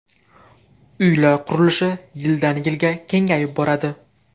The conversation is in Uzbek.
Uylar qurilishi yildan-yilga kengayib boradi.